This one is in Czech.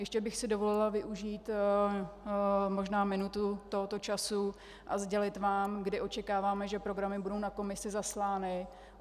Ještě bych si dovolila využít možná minutu tohoto času a sdělit vám, kdy očekáváme, že programy budou na Komisi zaslány.